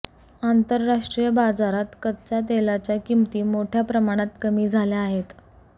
आंतरराष्ट्रीय बाजारात कच्चा तेलाच्या किमती मोठया प्रमाणात कमी झाल्या आहेत